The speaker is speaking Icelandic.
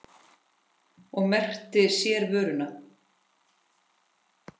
Og merkti sér vöruna.